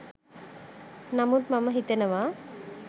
නමුත් මම හිතනවා